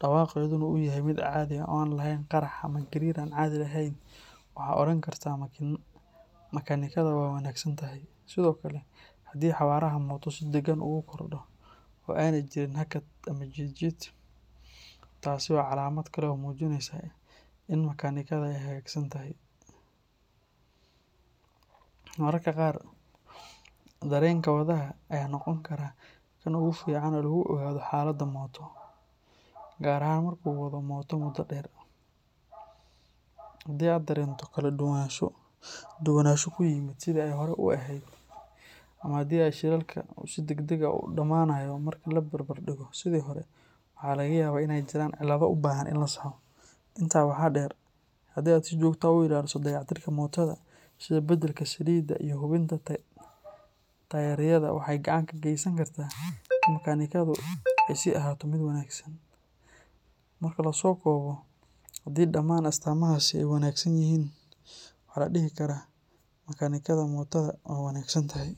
dhawaaqeeduna uu yahay mid caadi ah oo aan lahayn qarxar ama gariir aan caadi ahayn, waxaad odhan kartaa makaanikada waa wanaagsan tahay. Sidoo kale, haddii xawaaraha mooto si deggan ugu kordho oo aanay jirin hakad ama jiid jiid, taasi waa calaamad kale oo muujinaysa in makaanikada ay hagaagsan tahay. Mararka qaar, dareenka wadaha ayaa noqon kara kan ugu fiican ee lagu ogaado xaaladda mooto, gaar ahaan marka uu wado mooto muddo dheer. Haddii aad dareento kala duwanaansho ku yimid sidii ay hore u ahayd ama haddii shidaalka uu si degdeg ah u dhammaanayo marka la barbar dhigo sidii hore, waxaa laga yaabaa in ay jiraan cilado u baahan in la saxo. Intaa waxaa dheer, haddii aad si joogto ah u ilaaliso dayactirka mootoada, sida beddelka saliidda iyo hubinta taayirrada, waxa ay gacan ka geysan kartaa in makaanikadu ay sii ahaato mid wanaagsan. Marka la soo koobo, haddii dhammaan astaamahaasi ay wanaagsan yihiin, waxaa la dhihi karaa makaanikada mootoada waa wanaagsan tahay.